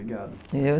Obrigado.